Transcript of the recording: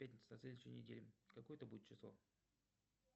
пятница на следующей неделе какое это будет число